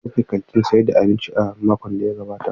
An rufe kantin sayar da abinci a cikin makon da ya gabata.